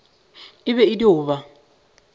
e be e dio ba